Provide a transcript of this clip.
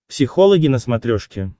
психологи на смотрешке